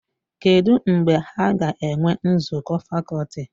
Kedụ mgbe ha ga-enwe nzukọ fakọlti?